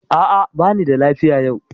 A'a, bani da lafiya yau.